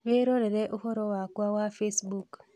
Wĩrorere ũhoro wakwa wa Facebook